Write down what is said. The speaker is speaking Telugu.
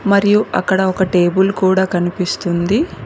మరియు అక్కడ ఒక టేబుల్ కూడా కనిపిస్తుంది.